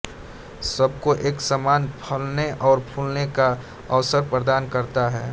सबको एक समान फलने और फूलने का अवसर प्रदान करता है